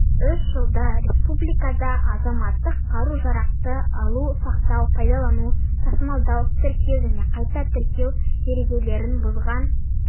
соңғы үш жылда республикада азаматтық қару-жарақты алу сақтау пайдалану тасымалдау тіркеу және қайта тіркеу ережелерін бұзған